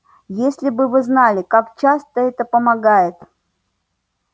если бы вы знали как часто это помогает